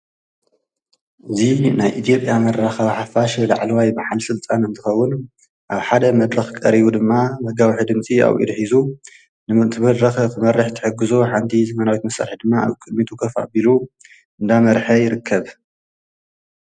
እዚ ምስሊ በዓል ስልጣን መንግስቲ ኢ/ያ እዩ ኣብ ኢዱ ድማ መጋዊሒ ድምፅን ዘመናዊ ላፕቶፕ ሒዙ ይርከብ።